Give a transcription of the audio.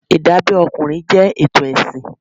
Ìdábẹ́ ọkùnrin jẹ́ ètò ẹ̀sìn.